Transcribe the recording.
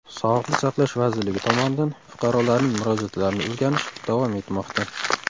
Sog‘liqni saqlash vazirligi tomonidan fuqarolarning murojaatlarini o‘rganish davom etmoqda.